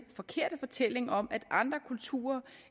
forkerte fortælling om at andre kulturer